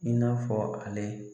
I n'a fɔ ale